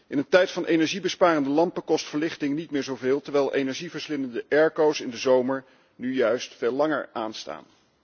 In een tijd van energiebesparende lampen kost verlichting niet meer zoveel, terwijl energieverslindende airco's in de zomer nu juist veel langer aanstaan.